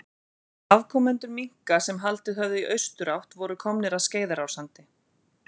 Afkomendur minka sem haldið höfðu í austurátt voru komnir að Skeiðarársandi.